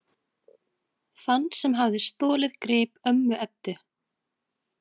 Þann sem hafði stolið grip ömmu Eddu.